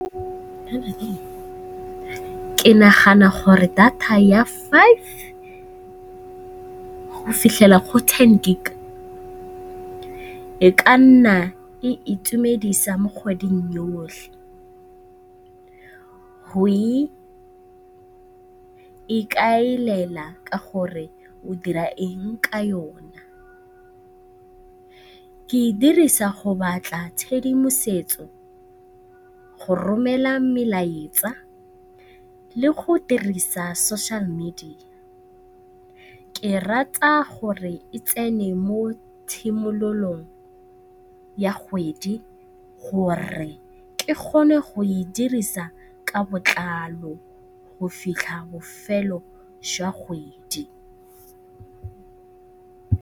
Ke nagana gore data ya five go fitlhela go ten gig e ka nna e itumedisa mo kgweding yotlhe. Go ikaelela ka gore o dira eng ka yona. Ke e dirisa go batla tshedimosetso, go romela melaetsa le go dirisa social media. Ke rata gore e tsene mo tshimololong ya kgwedi gore ke kgone go e dirisa ka botlalo go fitlha bofelo jwa kgwedi.